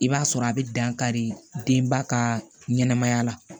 I b'a sɔrɔ a bɛ dan kari denba ka ɲɛnɛmaya la